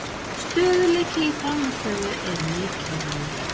Stöðugleiki í frammistöðu er mikilvægur